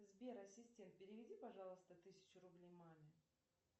сбер ассистент переведи пожалуйста тысячу рублей маме